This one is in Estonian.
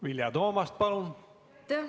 Vilja Toomast, palun!